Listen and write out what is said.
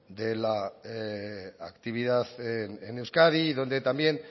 de la actividad en euskadi y donde también